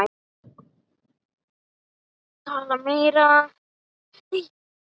Ég helli vatni í glas.